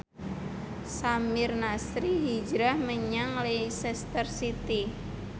Samir Nasri hijrah menyang Leicester City